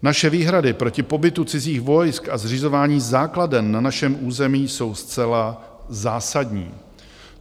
Naše výhrady proti pobytu cizích vojsk a zřizování základen na našem území jsou zcela zásadní.